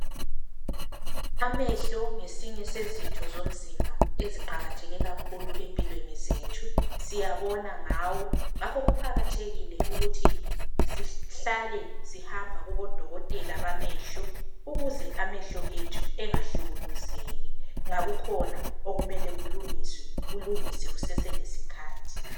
Amehlo ngesinye sezitho zomzimba eziqakatheke kakhulu empilweni zethu. Siyabona ngawo, ngakho kuqakathekile ukuthi sihlale sihamba kubodokotela bamehlo ukuze amahlo ethu engahlukuluzeki, nxa kukhona okumele kulungiswe ,kulungiswe kuseselesikhathi.